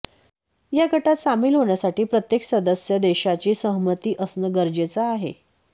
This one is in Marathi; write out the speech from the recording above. या गटात सामील होण्यासाठी प्रत्येक सदस्य देशाची सहमती असणं गरजेचं आहे